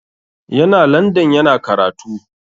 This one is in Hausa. Yana landan yana karatu.